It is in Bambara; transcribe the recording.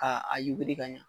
A a yuguri ka ɲa.